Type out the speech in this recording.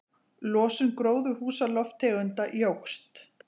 Losun gróðurhúsalofttegunda jókst